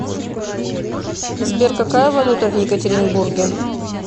сбер какая валюта в екатеринбурге